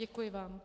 Děkuji vám.